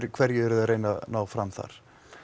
hverju eruði að reyna að ná fram þar